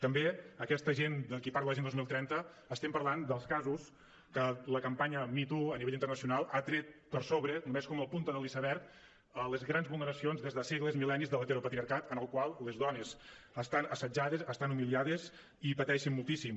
també aquesta gent de qui parla l’agenda dos mil trenta estem parlant dels casos amb què la campanya me too a nivell internacional ha tret per sobre només com la punta de l’iceberg les grans vulneracions des de segles mil·lennis de l’heteropatriarcat en el qual les dones estan assetjades estan humiliades i pateixen moltíssim